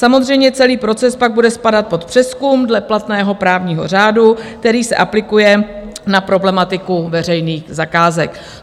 Samozřejmě celý proces pak bude spadat pod přezkum dle platného právního řádu, který se aplikuje na problematiku veřejných zakázek.